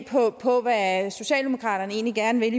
på hvad socialdemokraterne egentlig gerne vil